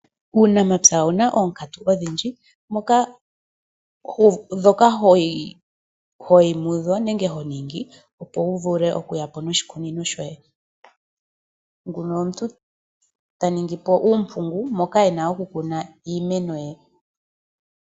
Uunamapya owuna oonkatu odhindji, dhoka hoyi mudho nenge honingi opo wu vule okuyapo noshikunino shoye. Omuntu oha ningi uumpungu moka ena oku kuna iimeno ye.